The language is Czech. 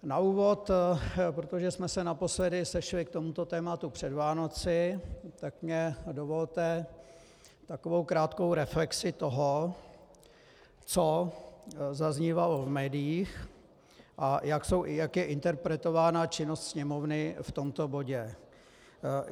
Na úvod, protože jsme se naposledy sešli k tomuto tématu před Vánocemi, tak mi dovolte takovou krátkou reflexi toho, co zaznívalo v médiích a jak je interpretována činnost Sněmovny v tomto bodě.